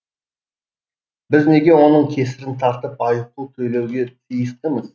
біз неге оның кесірін тартып айыппұл төлеуге тиістіміз